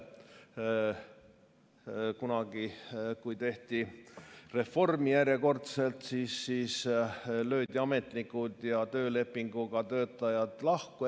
Kunagi, kui tehti järjekordselt reformi, löödi ametnikud ja töölepinguga töötajad lahku.